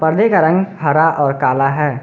पर्दे का रंग हरा और काला है।